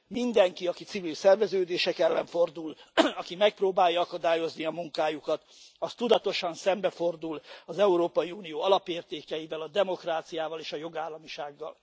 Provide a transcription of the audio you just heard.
Mindenki, aki civil szerveződések ellen fordul, aki megpróbálja akadályozni a munkájukat, az tudatosan szembefordul az Európai Unió alapértékeivel, a demokráciával és a jogállamisággal.